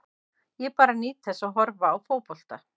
Ég bara nýt þess að horfa á fótbolta.